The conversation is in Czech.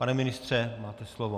Pane ministře, máte slovo.